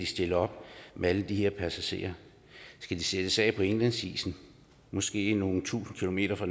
stille op med alle de her passagerer skal de sættes af på indlandsisen måske nogle tusinde kilometer fra